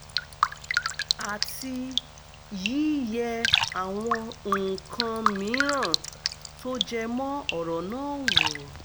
àti yíyẹ àwọn nǹkaǹ mìíràn tó jẹ mọ́ ọ̀rọ̀ náà wò